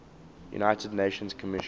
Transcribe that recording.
united nations commission